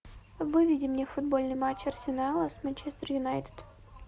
выведи мне футбольный матч арсенала с манчестер юнайтед